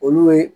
Olu ye